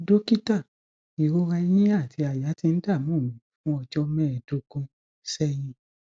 dọkítà ìrora ẹyìn àti àyà tí n dààmú mi fún ọjọ mẹẹẹdógún sẹyìn